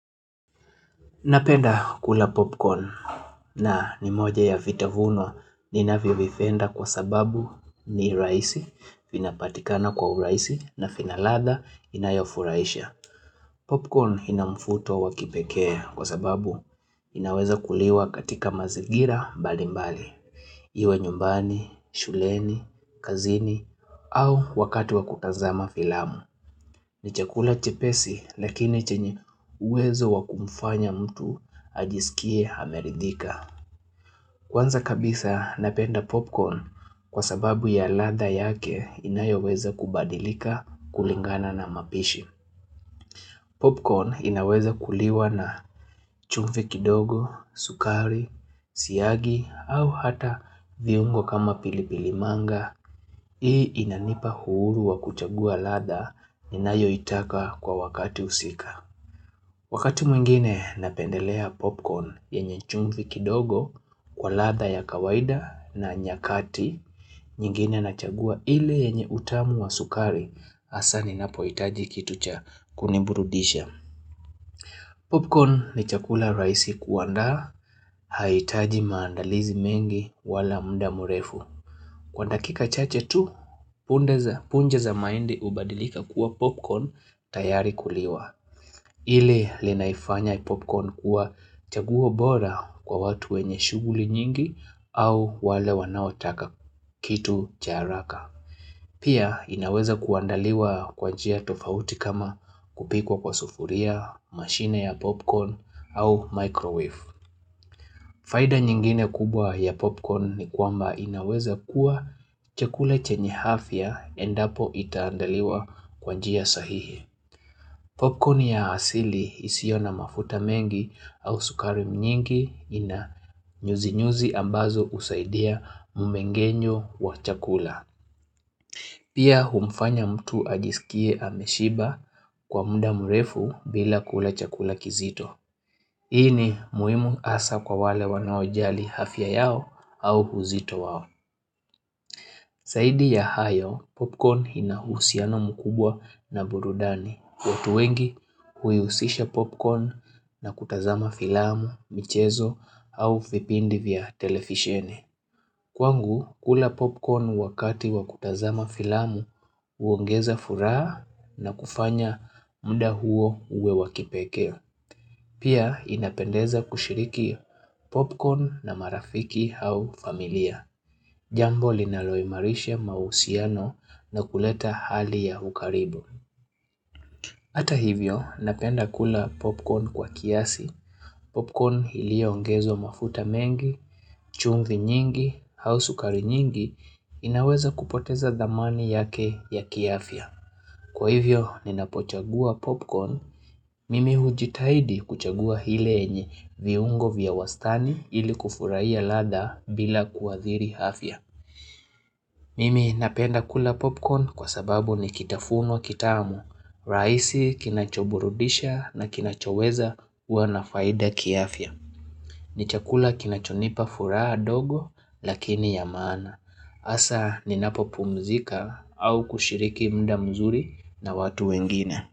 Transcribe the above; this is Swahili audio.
Napenda kula popcorn nani moja ya vitafuno ninavyo vipenda kwa sababu ni rahisi vinapatikana kwa urahisi na vinaladha inayofurahisha. Popcorn inamvuto wakipekee kwa sababu inaweza kuliwa katika mazingira mbali mbali. Iwe nyumbani, shuleni, kazini au wakati wakutazama filamu. Ni chakula chepesi lakini chenye uwezo wakumfanya mtu ajisikie amerithika Kwanza kabisa napenda popcorn kwa sababu ya ladha yake inayoweza kubadilika kulingana na mapishi Popcorn inaweza kuliwa na chumvi kidogo, sukari, siyagi au hata viungo kama pilipilimanga Hii inanipa uhuru wa kuchagua ladha ninayo itaka kwa wakati husika Wakati mwingine napendelea popcorn yenye chumvi kidogo kwa ladha ya kawaida na nyakati nyingine na chagua ile yenye utamu wa sukari hasa ninapo hitaji kitu cha kuniburudisha. Popcorn ni chakula rahisi kuandaa haihitaji maandalizi mengi wala mda mrefu. Kwa dakika chache tu, punja za mahindi hubadilika kuwa popcorn tayari kuliwa. Lile linaloifanya popcorn kuwa chaguo bora kwa watu wenye shughuli nyingi au wale wanaotaka kitu cha haraka. Pia inaweza kuandaaliwa kwa njia tofauti kama kupikwa kwa sufuria, mashine ya popcorn au microwave. Faida nyingine kubwa ya popcorn ni kwamba inaweza kuwa chakula chenye afya endapo itaandaliwa kwanjia sahihi. Popcorn ya asili isiyona mafuta mengi au sukari nyingi ina nyuzi nyuzi ambazo usaidia mmengenyo wa chakula. Pia humfanya mtu ajisikie ameshiba kwa muda mrefu bila kule chakula kizito. Hii ni muhimu hasa kwa wale wanaojali afya yao au uzito wao. Popcorn ni chakula rahisi kuandaa haitaji maandalizi mengi wala mda mrefu. Kwa dakika chache tu, punja za mahindi hubadilika kuwa popcorn tayari kuliwa. Kwangu, kula popcorn wakati wakutazama filamu huongeza furaha na kufanya mda huo uwe wakipeke. Pia inapendeza kushiriki popcorn na marafiki au familia. Ile linaifanya popcorn kuwa chaguo bora kwa watu wenye shughuli nyingi au wale wanaotaka kitu cha haraka. Pia inaweza kuandaliwa kwa njia tofauti kama kupikwa kwa sufuria, mashine ya popcorn au microwave. Faida nyingine kubwa ya popcorn ni kwamba inaweza kuwa chakula chenye afya endapo itaandaliwa kwanjia sahihi. Popcorn ya asili isiona mafuta mengi au sukari nyingi ina nyuzi nyuzi ambazo husaidia mumengenyo wa chakula. Pia humfanya mtu ajisikie ameshiba kwa muda mrefu bila kula chakula kizito. Hii ni muhimu hasa kwa wale wanaojali afya yao au uzito wao.